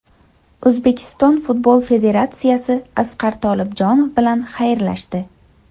O‘zbekiston Futbol Federatsiyasi Asqar Tolibjonov bilan xayrlashdi.